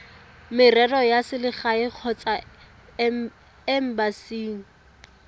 merero ya selegae kgotsa embasing